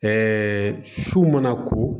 su mana ko